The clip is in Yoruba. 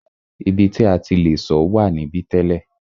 Ibi ti a ti le sọ̀ wà níbí tẹ́lẹ̀.